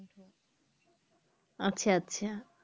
আচ্ছা আচ্ছা